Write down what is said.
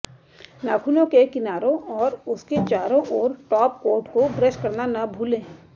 नाखूनों के किनारों और उसके चारों ओर टॉपकोट को ब्रश करना न भूलें